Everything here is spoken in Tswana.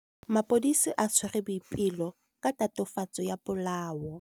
Maphodisa a tshwere Boipelo ka tatofatsô ya polaô.